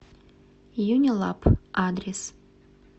юнилаб адрес